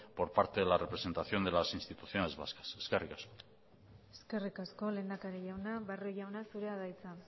por parte de la representación de las instituciones vascas eskerrik asko eskerrik asko lehendakari jauna barrio jauna zurea da hitza